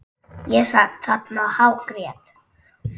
Ég sat þarna og hágrét.